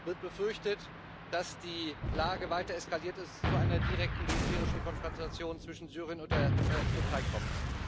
Es wird befürchtet, dass die Lage weiter eskaliert und es zu einer direkten militärischen Konfrontation zwischen Syrien und der Türkei kommt.